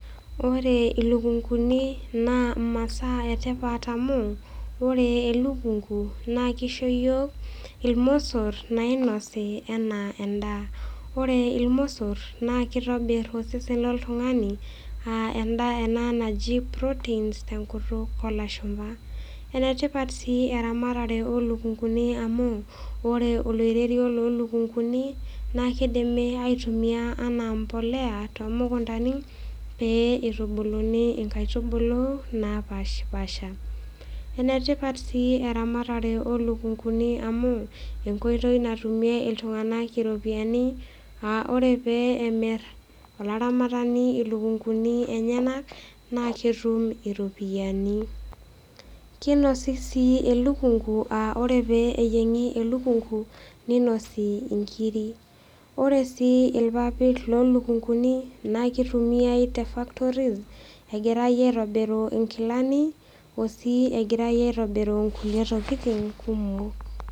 Ore ilukunkuni naa imasaa e tipat amu ore elukunku naa keishoo iyiok ilmosor nainosi anaa endaa. Ore ilmosor naa keitobir osesen lo ltung'ani aa endaa ena naji Protein tenkutuk o ilashumba. Enetipat sii eramatare oo ilukunkuni amu ore oloirerio loo ilukunkuni naa keidimi ai tumia anaa embolea too mukuntani pee neitubuluni inkaitubulu napaashipaasha. Ene tipat sii eramatare oo ilukunkuni amu enkoitoi natumie iltung'ana iropiani aa ore pee emir olaramatani ilukunkuni enyena naa etum iropiani. Keinosi sii elukunku aa ore pee neyieng'i elukunku neinosi inkiri. Ore sii ilpapit loo ilukunkuni naa kei tumiai te factories egira aitobir inkilani o sii egirai aitobiru kulie tokitin kumok.